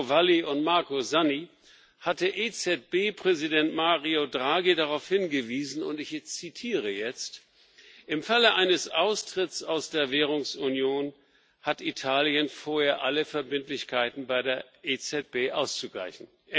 Marco Valli und Marco Zanni, hatte EZB Präsident Mario Draghi darauf hingewiesen und ich zitiere jetzt Im Falle eines Austritts aus der Währungsunion hat Italien vorher alle Verbindlichkeiten bei der EZB auszugleichen.